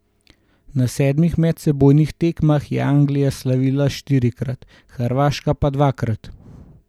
Na sedmih medsebojnih tekmah je Anglija slavila štirikrat, Hrvaška dvakrat.